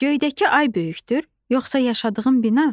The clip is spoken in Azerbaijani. Göydəki ay böyükdür, yoxsa yaşadığın bina?